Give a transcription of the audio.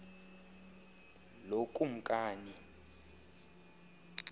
lokumkani